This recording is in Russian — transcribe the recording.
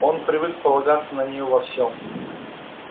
он привык полагаться на неё во всем